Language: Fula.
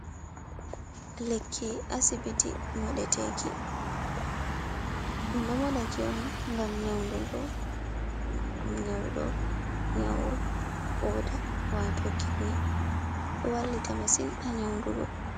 Lekki asibiti moɗe teki, ɗum ɗo moɗatiki on gam nyauɗo nyau koda wato kitni, ɗo wallita masin ha nyaundugo.